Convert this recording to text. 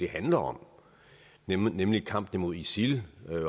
handler om nemlig kampen mod isil